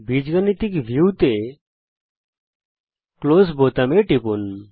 বীজগাণিতিক ভিউতে ক্লোজ বোতামে টিপুন